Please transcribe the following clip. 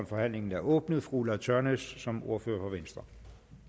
forhandlingen er åbnet fru ulla tørnæs som ordfører for venstre